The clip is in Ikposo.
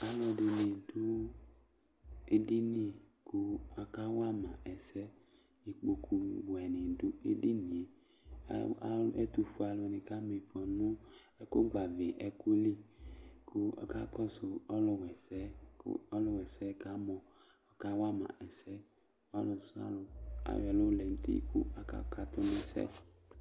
Alʋɛdɩnɩ dʋ edini kʋ akawa ma ɛsɛ Ikpokuwɛnɩ dʋ edini yɛ A a ɛtʋfue alʋnɩ kama ɩfɔ nʋ ɛkʋgbavɩ ɛkʋ li kʋ ɔkakɔsʋ ɔlʋwa ɛsɛ yɛ kʋ ɔlʋwa ɛsɛ yɛ kamɔ kawa ma ɛsɛ Ɔlʋsɩalʋ ayɔ ɛlʋ lɛ nʋ uti kʋ akakatʋ nʋ ɛsɛ